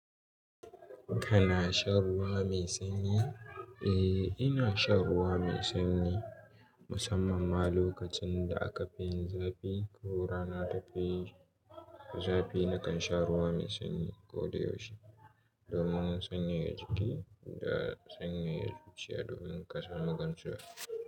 Kana shan ruwa mai sanyi? Eh, ina shan ruwa mai sanyi musamman ma lokacin da aka fin yin zafi. Yau rana ta kai zafi, nakan sha ruwa mai sanyi ko da yaushe domin sanyaya jiki da sanyaya zuciya domin ƙasa magancewa.